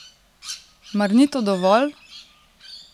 Mar ni to dovolj?